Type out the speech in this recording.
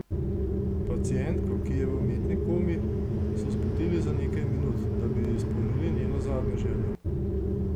Pacientko, ki je v umetni komi, so zbudili za nekaj minut, da bi ji izpolnili njeno zadnjo željo.